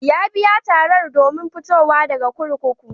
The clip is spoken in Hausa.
Ya biya tarar domin fitowa daga kurkuku.